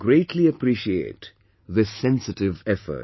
I greatly appreciate this sensitive effort